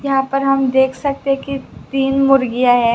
यहां पर हम देख सकते कि तीन मुर्गियां है।